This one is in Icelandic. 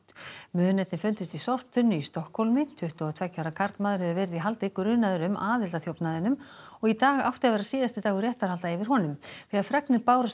munirnir fundust í sorptunnu í Stokkhólmi tuttugu og tveggja ára karlmaður hefur verið í haldi grunaður um aðild að þjófnaðinum og í dag átti að vera síðasti dagur réttarhalda yfir honum þegar fregnir bárust